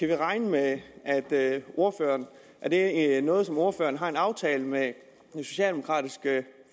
vi regne med at det er er noget som ordføreren har en aftale med det socialdemokratiske